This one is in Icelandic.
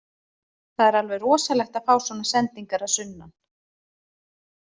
Það er alveg rosalegt að fá svona sendingar að sunnan.